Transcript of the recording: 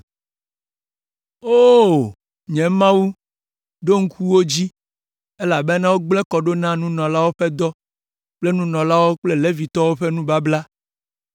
O! Nye Mawu, ɖo ŋku wo dzi, elabena wogblẽ kɔ ɖo na nunɔlawo ƒe dɔ kple nunɔlawo kple Levitɔwo ƒe nubabla.